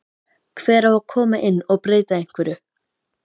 Hver á að koma inn og breyta einhverju?